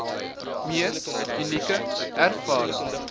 mees unieke ervaring